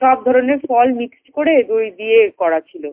সব ধরনের ফল mix করে দই দিয়ে করা ছিল ।